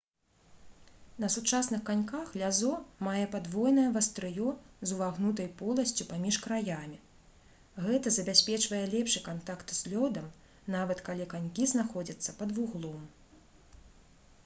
на сучасных каньках лязо мае падвойнае вастрыё з увагнутай поласцю паміж краямі гэта забяспечвае лепшы кантакт з лёдам нават калі канькі знаходзяцца пад вуглом